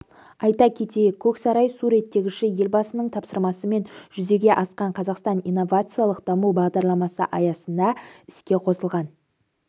айта кетейік көксарай су реттегіші елбасының тапсырмасымен жүзеге асқан қазақстан инновациялық даму бағдарламасы аясында іске қосылған